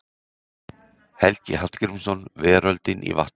Helgi Hallgrímsson, Veröldin í vatninu.